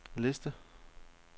liste